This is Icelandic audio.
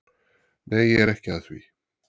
Nei, ég er ekki að því.